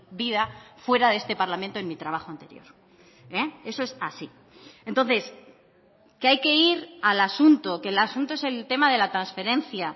vida fuera de este parlamento en mi trabajo anterior eso es así entonces que hay que ir al asunto que el asunto es el tema de la transferencia